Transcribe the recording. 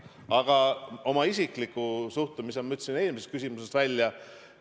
Aga oma isikliku suhtumise ütlesin ma eelmisele küsimusele vastates välja.